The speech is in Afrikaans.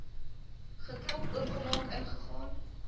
geklop oopgemaak ingegaan